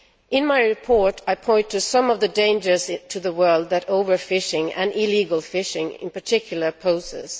In my report I point to some of the dangers to the world that overfishing, and illegal fishing in particular, poses.